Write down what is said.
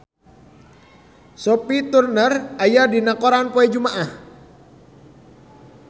Sophie Turner aya dina koran poe Jumaah